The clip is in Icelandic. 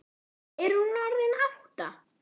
Er hún orðin átta?